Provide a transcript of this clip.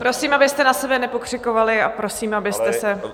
Prosím, abyste na sebe nepokřikovali, a prosím, abyste se -